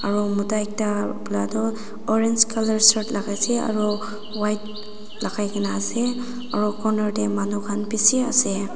saro mota ekta pra toh orange colour shirt lakaishey aro white lakai na ase aro corner te manu khan bishi ase.